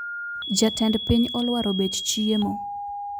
Jatend piny olwaro bech chiemo